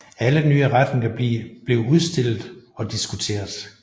Alle nye retninger blev udstillet og diskuteret